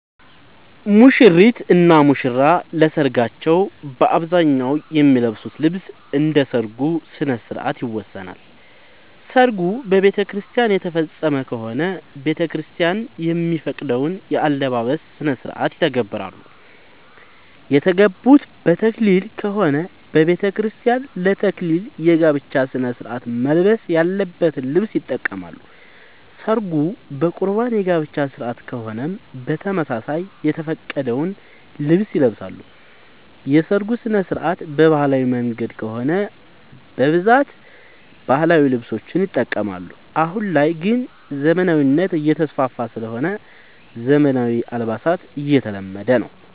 ሙሽሪት እና ሙሽራ ለሰርካቸው በአብዛኛው የሚለብሱት ልብስ እንደ ሠርጉ ስነስርዓት ይወሰናል። ሰርጉ በቤተክርስቲያን የተፈፀመ ከሆነ ቤተክርስቲያን የሚፈቅደውን የአለባበስ ስነስርዓት ይተገብራሉ። የተጋቡት በተክሊል ከሆነ በቤተክርስቲያን ለ ተክሊል የጋብቻ ስነስርዓት መልበስ ያለበትን ልብስ ይጠቀማሉ። ሰርጉ በቁርባን የጋብቻ ስነስርዓት ከሆነም በተመሳሳይ የተፈቀደውን ልብስ ይለብሳሉ። የሰርጉ ስነስርዓት በባህላዊ መንገድ ከሆነ በብዛት ባህላዊ ልብሶችን ይጠቀማሉ። አሁን ላይ ግን ዘመናዊነት እየተስፋፋ ስለሆነ ዘመናዊ አልባሳት እየተለመደ ነው።